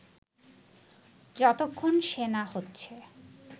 যতক্ষণ সে না হচ্ছে